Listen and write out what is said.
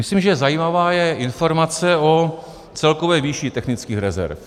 Myslím, že zajímavá je informace o celkové výši technických rezerv.